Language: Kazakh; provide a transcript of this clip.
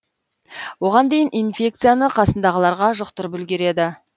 оған дейін инфекцияны қасындағыларға жұқтырып үлгереді